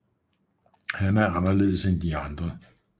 Han er anderledes end de andre